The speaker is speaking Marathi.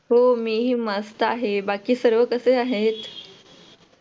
हो मीही मस्त आहे बाकी सर्व कसे आहेत?